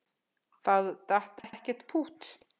Það datt ekkert pútt.